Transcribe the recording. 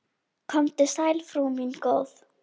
Komdu sæl, frú mín góð.